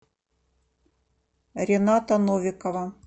рената новикова